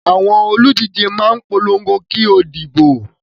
Àwọn olùdíje máa ń polongo kí ó di ìdìbò.